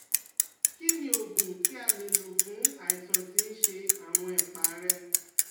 Kí ni oògùn tí a lè lò fún àìsàn tí ń ṣe àwọn ẹ̀pá rẹ̀?